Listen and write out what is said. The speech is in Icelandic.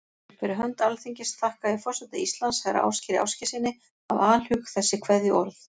Fyrir hönd Alþingis þakka ég forseta Íslands, herra Ásgeiri Ásgeirssyni, af alhug þessi kveðjuorð.